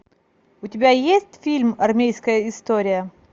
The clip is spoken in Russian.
у тебя есть фильм армейская история